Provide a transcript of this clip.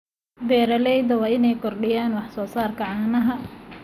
Beeralayda waa inay kordhiyaan wax soo saarka caanaha.